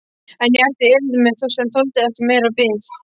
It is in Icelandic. En ég átti erindi sem þoldi ekki meiri bið.